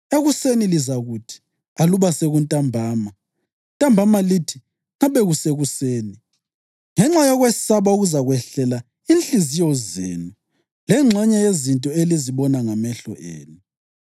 Ekuseni lizakuthi, ‘Aluba sekuntambama!’ ntambama lithi, ‘Ngabe kusekuseni!’ ngenxa yokwesaba okuzakwehlela inhliziyo zenu lengxenye yezinto elizazibona ngamehlo enu.